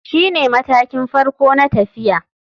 Shine matakin farko na tafiya.